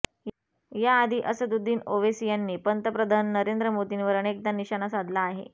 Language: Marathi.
याआधी असदुद्दीन ओवेसी यांनीही पंतप्रधन नरेंद्र मोदींवर अनेकदा निशाणा साधला आहे